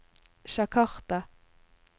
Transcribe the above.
Jakarta